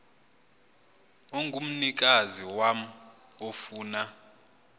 ongumnikazi wam ofuna